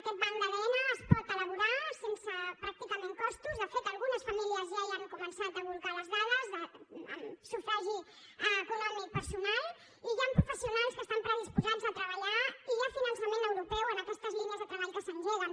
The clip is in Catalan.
aquest banc d’adn es pot elaborar sense pràcticament costos de fet algunes famílies ja hi han començat a bolcar les dades amb sufragi econòmic personal i hi han professionals que estan predisposats a treballar i hi ha finançament europeu en aquestes línies de treball que s’engeguen